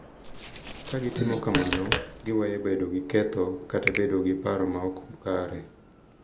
Ka gitimo kamano, giweyo bedo gi ketho kata bedo gi paro ma ok kare .